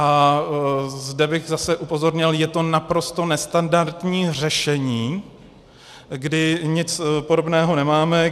A zde bych zase upozornil, je to naprosto nestandardní řešení, kdy nic podobného nemáme.